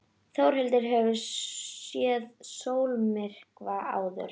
Þórhildur: Hefurðu séð sólmyrkva áður?